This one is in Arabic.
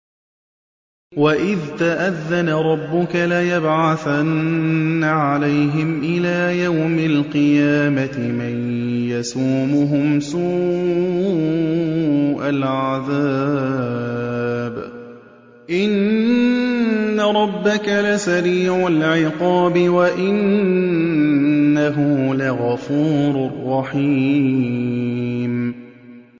وَإِذْ تَأَذَّنَ رَبُّكَ لَيَبْعَثَنَّ عَلَيْهِمْ إِلَىٰ يَوْمِ الْقِيَامَةِ مَن يَسُومُهُمْ سُوءَ الْعَذَابِ ۗ إِنَّ رَبَّكَ لَسَرِيعُ الْعِقَابِ ۖ وَإِنَّهُ لَغَفُورٌ رَّحِيمٌ